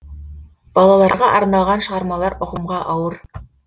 балаларға арналған шығармалар ұғымға ауыр